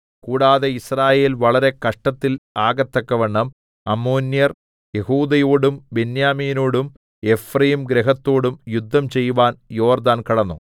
കൂടാതെ യിസ്രായേൽ വളരെ കഷ്ടത്തിൽ ആകത്തക്കവണ്ണം അമ്മോന്യർ യെഹൂദയോടും ബെന്യാമീനോടും എഫ്രയീംഗൃഹത്തോടും യുദ്ധം ചെയ്‌വാൻ യോർദ്ദാൻ കടന്നു